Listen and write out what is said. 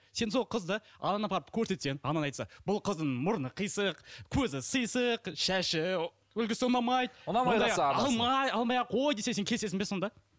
сен сол қызды анаңа апарып көрсетсең анаң айтса бұл қыздың мұрны қисық көзі сисық шашы үлгісі ұнамайды алма алмай ақ қой десе сен келісесің бе сонда